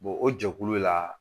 o jɛkulu la